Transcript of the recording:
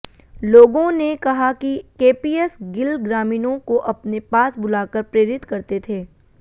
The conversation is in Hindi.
लोगों ने कहा कि केपीएस गिल ग्रामीणों को अपने पास बुलाकर प्रेरित करते थे